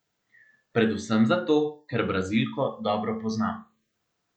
Predvsem zato, ker Brazilko dobro poznam.